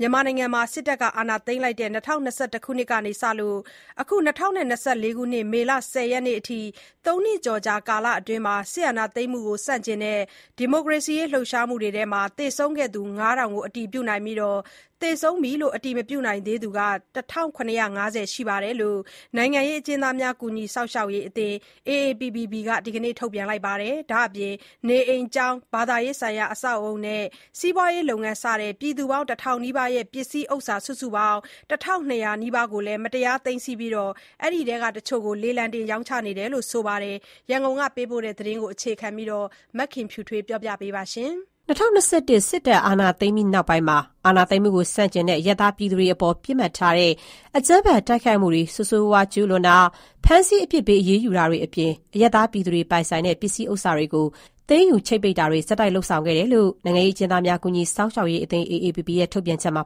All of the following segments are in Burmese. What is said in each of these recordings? မြန်မာနိုင်ငံမှာ စစ်တပ်က အာဏာသိမ်းလိုက်တဲ့ ၂၀၂၁ ခုနှစ်ကစလို့ အခု မေလ ၁၀ ရက်နေ့အထိ ၃နှစ်ကျော်ကြာ ကာလအတွင်း စစ်အာဏာသိမ်းမှုကို ဆန့်ကျင်တဲ့ ဒီမိုကရေစီအရေးလှုပ်ရှားမှုအတွင်း သေဆုံးခဲ့သူ ၅,၀၀၀ ကို အတည်ပြုနိုင်ပြီး သေဆုံးပြီး အတည်မပြုနိုင်သေးသူ ၁,၇၅၀ ရှိတယ်လို့ နိုင်ငံရေး အကျဉ်းသားများ ကူညီစောင့်ရှောက်ရေးအသင်း ရဲ့ ဒီကနေ့ ထုတ်ပြန်ချက်မှာ ဖော်ပြထားပါတယ်။ ဒါ့အပြင် နေအိမ်၊ ကျောင်း၊ ဘာသာရေးဆိုင်ရာ အဆောက်အဦနဲ့ စီးပွားရေးလုပ်ငန်း စတဲ့ ပြည်သူ ၁,၀၀၀ နီးပါးရဲ့ ပစ္စည်းဥစ္စာ စုစုပေါင်း ၁,၂၀၀ နီးပါးကို မတရား သိမ်းဆည်းထားပြီး အဲဒီထဲက တချို့ကို လေလံတင်ရောင်းချခဲ့တယ်လို့ ဆိုပါတယ်။ ဒီအကြောင်း ရန်ကုန်ကပေးပို့တဲ့သတင်းကို အခြေခံပြီး မခင်ဖြူထွေးက ပြောပြပါမယ်။ ၂၀၂၁ စစ်ကောင်စီအာဏာသိမ်းပြီးနောက်ပိုင်းမှာအာဏာသိမ်းမှုကိုဆန့်ကျင်တဲ့ အရပ်သားပြည်သူတွေအပေါ် ပစ်မှတ်ထားတဲ့ အကြမ်းဖက် တိုက်ခိုက်မှုတွေကို ဆိုးရွားစွာ ကျူးလွန်တာ၊ ဖမ်းဆီးအပြစ်ပေး အရေးယူတာတွေအပြင် အရပ်သားပြည်သူတွေပိုင်ဆိုင်တဲ့ ပစ္စည်းဥစ္စာတွေကို သိမ်းယူချိတ်ပိတ်တာတွေ ဆက်တိုက်လုပ်ဆောင်လာခဲ့တယ်လို့ နိုင်ငံရေး အကျဉ်းသားများ ကူညီစောင့်ရှောက်ရေးအသင်း ရဲ့ ထုတ်ပြန်ချက်မှာ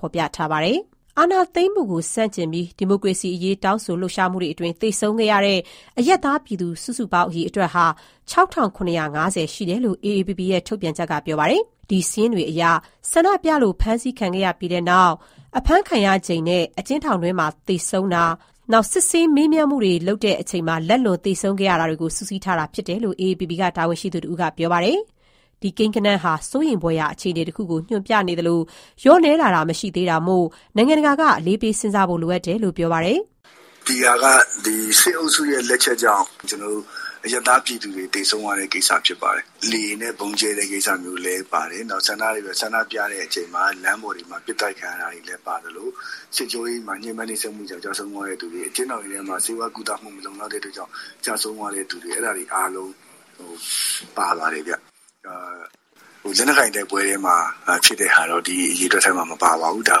ဖော်ပြထားပါတယ်။ အာဏာသိမ်းမှုကိုဆန့်ကျင်တဲ့ ဒီမိုကရေစီအရေး တောင်းဆို လှုပ်ရှားမှုအတွင်း သေဆုံးခဲ့ရတဲ့ အရပ်သားပြည်သူ စုစုပေါင်း အရေအတွက်ဟာ ၆,၇၅၀ ရှိတယ်လို့ AAPP ရဲ့ ထုတ်ပြန်ချက်က ဆိုပါတယ်။ ဒီစာရင်းတွေဟာ ဆန္ဒပြလို့ ဖမ်းဆီးခံရပြီးတဲ့နောက် အဖမ်းဆီးခံရချိန်နဲ့ အကျဉ်းထောင်တွင်းမှာ သေဆုံးခဲ့တာ၊ စစ်မေးမှုတွေလုပ်တာမှာ လက်လွန်သေဆုံးခဲ့တာတွေကိုပါထည့်သွင်း စုစည်းထားတာဖြစ်တယ်လို့ AAPP က တာဝန်ရှိသူတဦးက ပြောပါတယ်။ ဒီကိန်းဂဏန်းဟာ စိုးရိမ်ဖွယ်ရာ အခြေအနေတခုကို ညွှန်ပြနေသလို လျော့နည်းလာတာမရှိသေးတာမို့ နိုင်ငံတကာက အလေးပေးစဉ်းစားဖို့ လိုအပ်နေတယ်လို့ ပြောပါတယ်။ "ဒီဟာက စစ်အုပ်စုရဲ့လက်ချက်ကြောင့် အရပ်သားပြည်သူတွေ သေဆုံးရတဲ့ကိစ္စဖြစ်ပါတယ်။ လေယာဉ်နဲ့ဗုံးကြဲတဲ့ကိစ္စမျိုးလည်းပါတယ်၊ နောက် ဆန္ဒပြတဲ့အချိန်မှာ လမ်းပေါ်တွေမှာ ပစ်သတ်ခံရသူတွေပါသလို၊ စစ်ကြောရေးမှာ ညှင်းပန်းနှိပ်စက်ခံရလို့ ကျဆုံးသွားတဲ့သူတွေ၊ အကျဉ်းထောင်တွေထဲမှာ ဆေးဝါးကုသမှုမလုံလောက်လို့ ကျဆုံးသွားတဲ့သူတွေ အဲဒါတွေအားလုံးပါပါတယ်ဗျ။ လက်နက်ကိုင်တိုက်ပွဲထဲမှာဖြစ်တဲ့ဟာတော့ ဒီအရေအတွက်ထဲမှာ မပါပါဘူး။ ကျွန်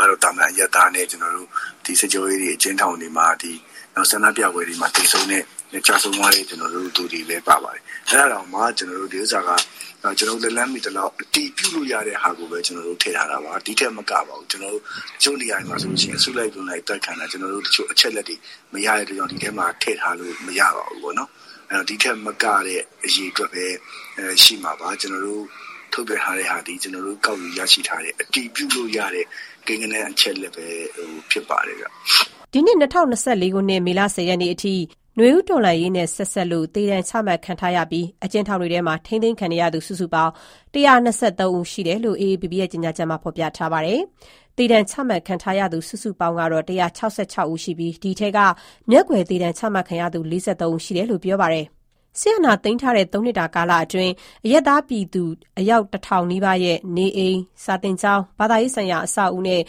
တော်တို့လက်လှမ်းမှီသလောက် အတည်ပြုလို့ရတဲ့ သူတွေကိုပဲ ထည့်ထားတာပါ။ ဒီထက်မကပါဘူး။ တချို့နေရာတွေမှာဆိုရင် အစုလိုက်အပြုံလိုက်အသတ်ခံရတာတွေ ကျွန်တော်တို့အချက်အလက်မရတဲ့အတွက်ကြောင့် ဒီထဲမှာ ထည့်ထားလို့မရပါဘူး။ ဒီထက်မကတဲ့အရေအတွက်ပဲ ရှိမှာပါ။ အခုထုတ်ပြန်ထားတာသည် ကျွန်တော်တို့ကောက်ယူရရှိထားတဲ့ အတည်ပြုလို့ရတဲ့ ကိန်းဂဏန်းအချက်အလက်ပဲဖြစ်ပါတယ်ခင်ဗျ။" အခု ၂၀၂၄ ခုနှစ်၊ မေလ ၁၀ ရက်နေ့အထိ နွေဦးတော်လှန်ရေးနဲ့ ဆက်စပ်လို့ သေဒဏ်ချမှတ်ခံထားရပြီး အကျဉ်းထောင်တွေထဲမှာ ထိန်းသိမ်းခံနေရသူ စုစုပေါင်း ၁၂၃ ဦး ရှိတယ်လို့ AAPP ရဲ့ ကြေညာချက်က ဆိုပါတယ်။ သေဒဏ်ချမှတ်ခံထားရသူ စုစုပေါင်း ဦး ရှိပြီး အဲဒီအထဲက မျက်ကွယ် သေဒဏ်ချမှတ်ခံထားရသူဟာ ၄၃ ဦး ဆိုပါတယ်။ စစ်အာဏာသိမ်းထားတဲ့ ၃နှစ်တာကာလအတွင်း အရပ်သား ပြည်သူ အယောက် ၁၀၀၀ နီးပါးရဲ့ နေအိမ်၊ ကျောင်း၊ ဘာသာရေးဆိုင်ရာ အဆောက်အဦနဲ့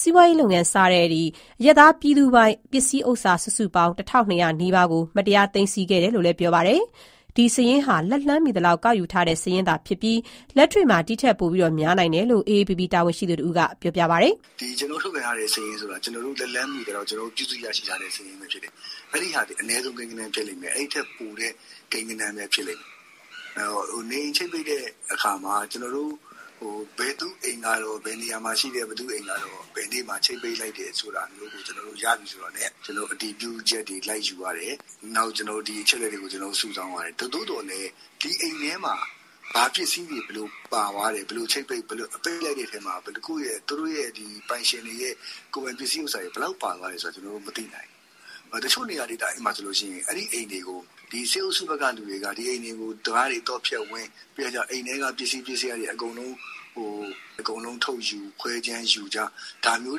စီးပွားရေးလုပ်ငန်းစတဲ့ အရပ်သားပိုင် ပစ္စည်းဥစ္စာ စုစုပေါင်း ၁,၂၀၀ နီးပါးကို မတရား သိမ်းဆည်းခဲ့တယ်လို့ ပြောပါတယ်။ ဒီစာရင်းဟာ လက်လှမ်းမှီသလောက် ကောက်ယူထားခဲ့တဲ့ စာရင်းသာဖြစ်ပြီး လက်တွေ့မှာ ဒီထပ်ပိုများနိုင်တယ်လို့ AAPP တာဝန်ရှိသူတဦးက ဆက်ပြောတယ်။ "ကျွန်တော်တို့ထုတ်ပြန်ထားတဲ့စာရင်းဆိုတာ ကျွန်တော်တို့လက်လှမ်းမှီသလောက် ပြုစုရရှိထားတဲ့စာရင်းပဲဖြစ်တယ်။ အဲဒီဟာသည် အနည်းဆုံးကိန်းဂဏန်းဖြစ်လိမ့်မယ်။ အဲဒီထက်ပိုတဲ့ကိန်းဂဏန်းပဲဖြစ်လိမ့်မယ်။ နေအိမ်ချိတ်ပိတ်တဲ့အခါမှာ ဘယ်သူ့အိမ်ကတော့ဘယ်နေရာမှာရှိတယ်၊ ဘယ်သူ့အိမ်ကတော့ ဘယ်နေ့မှာချိတ်ပိတ်လိုက်တယ် ဆိုတာမျိုး ရပြီဆိုတာနဲ့ အတည်ပြုချက်တွေလိုက်ယူရတယ်။ ဒီအချက်အလက်တွေကိုစုဆောင်းရတယ်။ သို့သော်လည်း ဒီအိမ်ထဲမှာ ဘာပစ္စည်းတွေဘယ်လိုပါသွားတယ်။ ဘယ်လိုချိတ်ပိတ် ပိတ်လိုက်တဲ့အထဲမှာ ဘယ်နှခုရဲ့ ပိုင်ရှင်တွေရဲ့ ကိုယ်ပိုင်ပစ္စည်းဥစ္စာတွေ ဘယ်လောက်ပါသွားလဲဆိုတာ ကျွန်တော်တို့ မသိနိုင်ဘူး။ တချို့နေရာဒေသတွေမှာဆိုရင် အဲဒီအိမ်တွေကို စစ်အုပ်စုဖက်ကလူတွေက ဒီအိမ်တွေကို တံခါးတွေသော့ဖျက်ဝင်၊ ပြီးတော့ကျ အိမ်ထဲက ပစ္စည်း ပစ္စယာတွေအကုန်လုံးထုတ်ယူ ခွဲခြမ်းယူကြ၊ ဒါမျိုး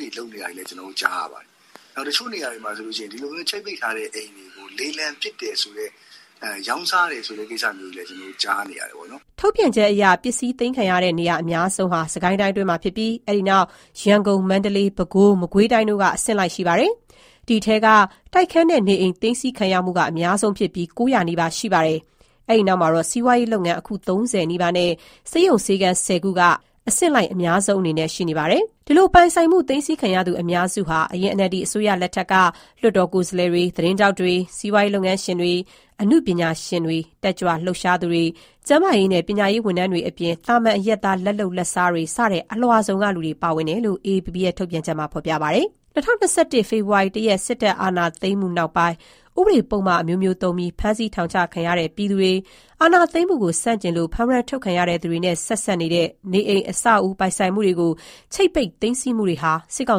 တွေလုပ်နေတာတွေလည်း ကျွန်တော်တို့ကြားရပါတယ်။ တချို့နေရာတွေမှာဆိုလို့ရှိရင် ချိတ်ပိတ်ခံရတဲ့ အိမ်တွေကို လေလံပစ်တယ်ဆိုတဲ့ ရောင်းစားတယ်ဆိုတဲ့ကိစ္စတွေလည်း ကျွန်တော်တို့ကြားနေရတယ်ပေါ့နော်" ထုတ်ပြန်ချက်အရ ပစ္စည်းသိမ်းခံရတဲ့ နေရာအများဆုံးဟာ စစ်ကိုင်းတိုင်းအတွင်းဖြစ်ပြီး အဲဒီနောက်က ရန်ကုန်၊ မန္တလေး၊ ပဲခူး၊ မကွေးတိုင်းတို့က အဆင့်လိုက် ရှိနေပါတယ်။ အဲဒီထဲမှာ တိုက်ခန်းနဲ့နေအိမ် သိမ်းဆည်းခံရမှုက အများဆုံးဖြစ်ပြီး ၉၀၀နီးပါးရှိခဲ့တာပါ။ အဲဒီနောက်မှာတော့ စီးပွားရေးလုပ်ငန်း အခု ၃၀ နီးပါးနဲ့ ဆေးရုံ/ဆေးခန်း ၁၀ခုတို့က အဆင့်လိုက် အများဆုံးအနေနဲ့ ရပ်တည်နေပါတယ်။ အဲဒီလို ပိုင်ဆိုင်မှုသိမ်းခံရသူ အများစုဟာ အရင် NLD အစိုးရလက်ထက်က လွှတ်တော်ကိုယ်စားလှယ်တွေ၊ သတင်းထောက်တွေ၊ စီးပွားရေးလုပ်ငန်းရှင်တွေ၊ အနုပညာရှင်တွေ၊ တက်ကြွလှုပ်ရှားသူတွေ၊ ကျန်းမာရေးနဲ့ ပညာရေးဝန်ထမ်းတွေအပြင် သာမန် အရပ်သား လက်လုပ်လက်စားတွေ စတဲ့ အလွှာစုံကလူတွေ ပါဝင်တယ်လို့ AAPP ရဲ့ ထုတ်ပြန်ချက်မှာ ဖော်ပြထားပါတယ်။ ၂၀၂၁ ခုနှစ် ဖေဖော်ဝါရီ ၁ ရက် စစ်အာဏာသိမ်းမှု ဖြစ်ပွားပြီးနောက်ပိုင်း ဥပဒေ၊ ပုဒ်မ အမျိုးမျိုးသုံးပြီး ဖမ်းဆီးထောင်ချခံနေရတဲ့ ပြည်သူတွေ၊ အာဏာသိမ်းမှုကိုဆန့်ကျင်လို့ ဖမ်ဝရမ်း ထုတ်ခံထားရတဲ့သူတွေနဲ့ ဆက်စပ်နေတဲ့ နေအိမ်၊ အဆောက်အဦ ပိုင်ဆိုင်မှုတွေကို ချိတ်ပိတ် သိမ်းဆည်းမှုတွေဟာ စစ်ကော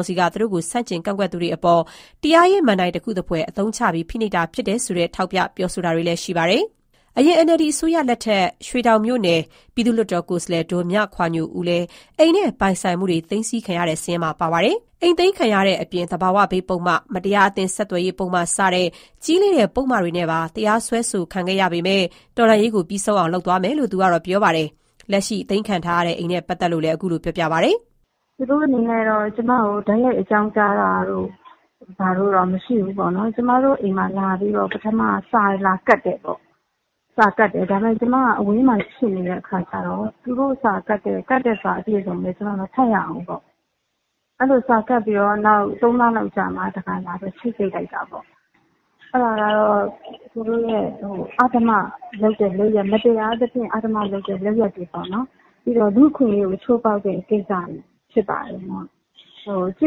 င်စီက သူတို့ကို ဆန့်ကျင်ကန့်ကွက်သူတွေအပေါ် တရားရေး မဏ္ဍိုင်တခုသဖွယ် အသုံးချပြီး ဖိနှိပ်တာ ဖြစ်တယ်ဆိုတဲ့ ထောက်ပြ ပြောဆိုမှုတွေလည်း ရှိနေပါတယ်။ အရင် NLD အစိုးရလက်ထက် ရွှေတောင်လွှတ်တော်ကိုယ်စားလှယ် ဒေါ်မြခွာညိုဦးလည်း အိမ်နဲ့ပိုင်ဆိုင်မှုတွေ သိမ်းဆည်းခံရသူစာရင်းမှာ ပါဝင်ပါတယ်။ အိမ်သိမ်းခံရတဲ့အပြင် သဘာဝဘေးပုဒ်မ၊ မတရားအသင်း ဆက်သွယ်ရေးပုဒ်မ စတဲ့ ကြီးလေးတဲ့ ပုဒ်မတွေနဲ့ပါ တရားစွဲဆိုခံခဲ့ရပေမယ့် တော်လှန်ရေးကို ပြီးဆုံးအောင် လုပ်ဆောင်သွားမယ်လို့ သူမကပြောပါတယ်။ လက်ရှိသိမ်းခံထားရတဲ့ အိမ်နဲ့ပတ်သတ်လို့ သူက အခုလို ပြောပါတယ်။ "သူတို့အနေနဲ့ ကျွန်မကိုတိုက်ရိုက်အကြောင်းကြားတာတို့ ဘာတို့တော့ မရှိဘူးပေါ့နော်။ ကျွန်မတို့အိမ်မှာလာပြီးတော့ ပထမက စာလာကပ်တယ်ပေါ့။ ဒါပေမဲ့ ကျွန်မကအဝေးမှာရှိနေတဲ့အခါကျတော့ သူတို့ကပ်တဲ့စာအပြည့်အစုံလည်း ကျွန်မမဖတ်ရဘူး။ စာကပ်ပြီးတော့ သုံးလလောက်အကြာမှာတခါလာပြီး ချိတ်ပိတ်တာပေါ့။ အဲဒါကတော့ သူတို့ရဲ့ အဓမ္မလုပ်တဲ့ လုပ်ရပ်၊ မတရားသဖြင့် အဓမ္မလုပ်ရပ် တွေပေါ့နော်။ လူ့အခွင့်အရေးကိုချိုးဖောက်တဲ့ကိစ္စတွေဖြစ်ပါတယ်။ စောင့်ထိ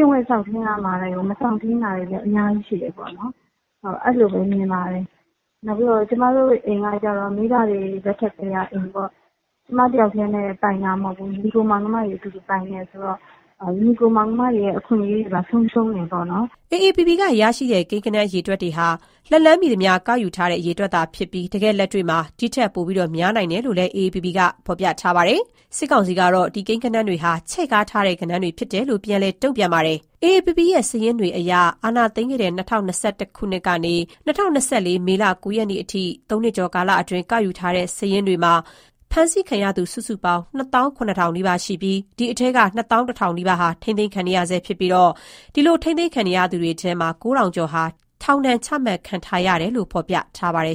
န်းရမှာတွေကို မစောင့်ထိန်းတာတွေ အများကြီးရှိတယ်ပေါ့။ အဲလိုပဲမြင်ပါတယ်။ ကျွန်မတို့အိမ်ကကျတော့ မိဘတွေလက်ထက်ကတည်းကအိမ်ပေါ့၊ ကျွန်မတယောက်တည်းပိုင်တာမဟုတ်ဘူး။ ညီအကိုမောင်နှမတွေ အတူတူပိုင်တယ်ဆိုတော့ ညီအကိုမောင်နှမတွေရဲ့အခွင့်အရေးတွေပါ ဆုံးရှုံးတယ်ပေါ့နော်" ဒီ ကိန်းဂဏန်း အရေအတွက်တွေဟာ AAPP က လက်လှမ်းမီသမျှ ကောက်ယူရရှိထားတဲ့ အရေအတွက်ဖြစ်ပြီး တကယ့်လက်တွေ့မှာ ဒီထက် ပိုများနိုင်တယ်လို့ ဖော်ပြထားပါတယ်။ စစ်ကောင်စီကတော့ ဒီကိန်းဂဏန်းတွေဟာ ချဲ့ကားထားတဲ့ ကိန်းဂဏန်းတွေဖြစ်တယ်လို့ ပြန်လည် တုံပြန်ထားပါတယ်။ AAPP စာရင်းတွေအရ အာဏာသိမ်းခဲ့တဲ့ ၂၀၂၁ ခုနှစ်ကနေ ၂၀၂၄ မေ ၉ ရက်အထိ ၃ နှစ်ကျော်ကြာ ကာလအတွင်း ကောက်ယူထားတဲ့ စာရင်းတွေအရ ဖမ်းဆီးခံခဲ့ရသူ စုစုပေါင်း ၂၇,၀၀၀နီးပါးရှိပြီး အဲဒီအထဲက ၂၁,၀၀၀ နီးပါးဟာ ထိန်းသိမ်းခံနေရဆဲဖြစ်ပြီး ထိန်းသိမ်းခံနေရသူတွေထဲက ၉,၀၀၀ကျော်ဟာ ထောင်ဒဏ် ချမှတ်ခံထားရတယ်လို့ ဖော်ပြထားပါတယ်